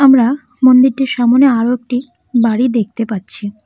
আমরা মন্দিরটির সামনে আরো একটি বাড়ি দেখতে পাচ্ছি।